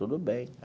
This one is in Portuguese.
Tudo bem.